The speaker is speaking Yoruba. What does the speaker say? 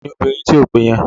Ta ni obìnrin tí o pè yẹn?